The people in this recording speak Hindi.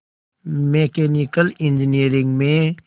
मैकेनिकल इंजीनियरिंग में